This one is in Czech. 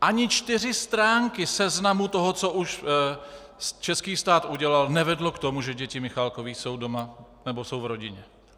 Ani čtyři stránky seznamu toho, co už český stát udělal, nevedly k tomu, že děti Michalákových jsou doma nebo jsou v rodině.